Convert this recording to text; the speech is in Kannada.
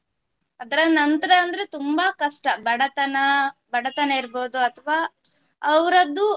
ಅದರ ನಂತ್ರ ಅಂದ್ರೆ ತುಂಬಾ ಕಷ್ಟ. ಬಡತನ, ಬಡತನ ಇರ್ಬಹುದು ಅಥವ ಅವರದ್ದು